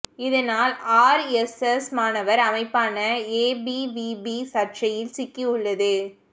இதனால் ஆர்எஸ்எஸ் மாணவர் அமைப்பான ஏபிவிபி சர்ச்சையில் சிக்கி உள்ளது